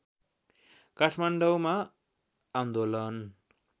काठमाडौँमा आन्दोलन